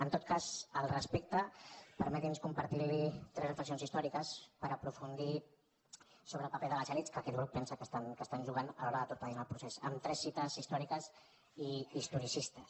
en tot cas al respecte permeti’ns compartir tres reflexions històriques per aprofundir sobre el paper de les elits que aquest grup pensa que estan jugant a l’hora de torpedinar el procés amb tres cites històriques i historicistes